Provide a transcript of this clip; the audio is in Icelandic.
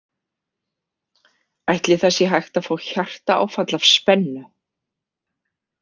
Ætli það sé hægt að fá hjartaáfall af spennu?